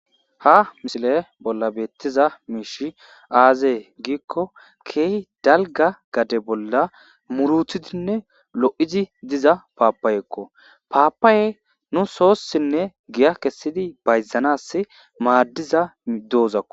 HA misile bolla betiza mishi aze giko kehi dalga gade bolla mutetidine lou'di diza papayekko, papaey nus sosinne giya kesidi bayzanas madida dozakko.